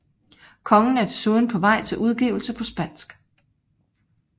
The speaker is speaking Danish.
Kongen er desuden på vej til udgivelse på spansk